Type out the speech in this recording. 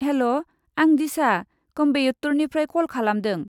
हेल'! आं डिशा, कयेम्बटुरनिफ्राय कल खालामदों।